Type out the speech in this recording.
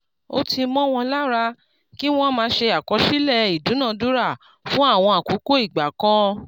ó ti mó won lára ki wọ́n máa ṣe àkọsílẹ̀ ìdúnadúrà fún àwọn àkókò ìgbà kan*